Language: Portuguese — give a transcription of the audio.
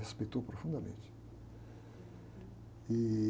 Respeitou profundamente. Ih...